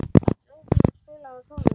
Þorbrá, spilaðu tónlist.